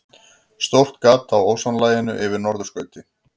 Stórt gat á ósonlaginu yfir norðurskauti